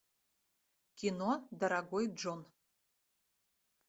кино дорогой джон